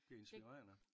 Det er inspirerende